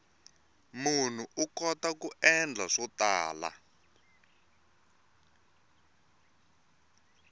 munhu u kota ku endla swo tala